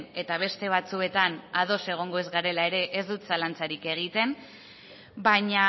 eta beste batzuetan ados egongo ez garela ere ez dut zalantzarik egiten baina